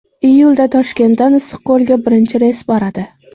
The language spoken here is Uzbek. Iyulda Toshkentdan Issiqko‘lga birinchi reys boradi.